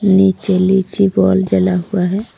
नीचे लीची बोल जला हुआ है।